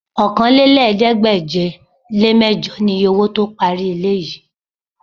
Okòólélẹ́ẹ̀ẹ́dégbèje-le-mẹ́jọ niye owó tó parí ilé yìí